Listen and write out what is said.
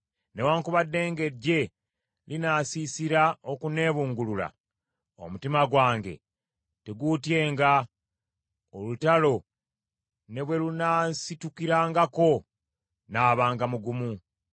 Newaakubadde ng’eggye linaasiisira okunneebungulula, omutima gwange teguutyenga; olutalo ne bwe lunansitukirangako, nnaabanga mugumu.